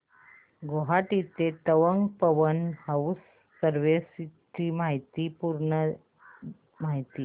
गुवाहाटी ते तवांग पवन हंस सर्विसेस ची पूर्ण माहिती